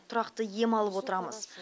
тұрақты ем алып отырамыз